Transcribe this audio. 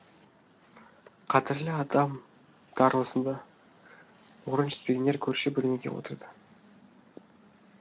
қадірлі адам дар осында орын жетпегендер көрші бөлмеге отырды